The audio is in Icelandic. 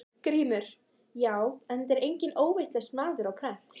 GRÍMUR: Já, en þetta setur enginn óvitlaus maður á prent.